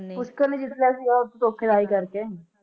ਪੁਸ਼ਕਰ ਨੇ ਜਿੱਤ ਲਿਆ ਸੀ ਉਹ ਧੋਖ਼ਾਦਾਰੀ ਕਰਕੇ